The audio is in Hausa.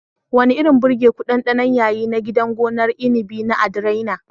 Wani irin birgeku ɗanɗanon yayi na gidan gonar inabi na "Adrianna"?